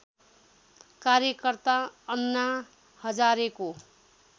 कार्यकर्ता अन्ना हजारेको